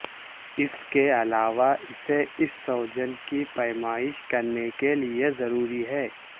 اس کے علاوہ اسے اس سوجن کی پیمائش کرنے کے لئے ضروری ہے